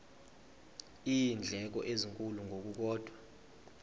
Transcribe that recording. iindleko ezinkulu ngokukodwa